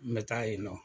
N bɛ taa yen nɔ